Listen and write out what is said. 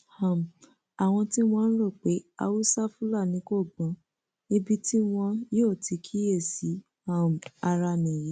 um àwọn tí wọn ń rò pé haúsá fúlàní kò gbọn ibi tí wọn yóò ti kíyèsí um ara nìyí